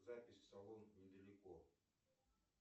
запись в салон не далеко